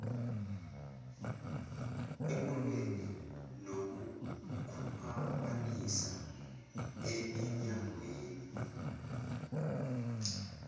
ekulweni nokukhwabanisa eminyangweni